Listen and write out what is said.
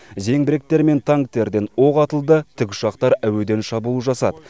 зеңбіректер мен танктерден оқ атылды тікұшақтар әуеден шабуыл жасады